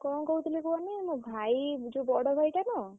କଣ କହୁଥିଲି କୁହନି ମୋ ଭାଇ ଯୋଉ ବଡ଼ ଭାଇ ଟା ନୁହଁ!